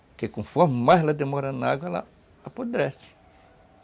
Porque conforme mais ela demora na água, ela apodrece.